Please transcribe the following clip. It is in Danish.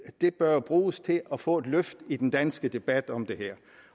det bør bruges til at få et løft i den danske debat om det her